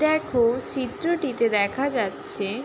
দেখ চিত্রটিতে দেখা যাচ্ছে।